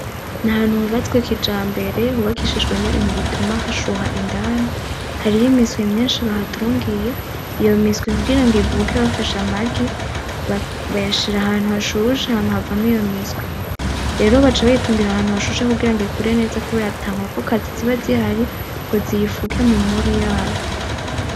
N'ahantu hubatswe kijambere hubakishijwe n'ibintu bituma hashuha indani, hariho imiswi myishi bahatungiye iyo miswi kugirango ivuke bafashe amagi bayashira ahantu hashushe hama havamwo iyo miswi. rero baca bayitungira ahantu hashushe kugirango ikure neza kubera ata nkokokazi ziba ngo ziyifuke mumubi yayo.